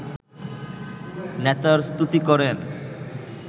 নেতার স্তুতি করেন